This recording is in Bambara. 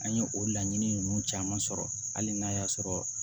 An ye o laɲini ninnu caman sɔrɔ hali n'a y'a sɔrɔ